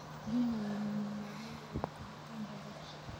Biyaha ayaa lagama maarmaan u ah koritaanka dhirta.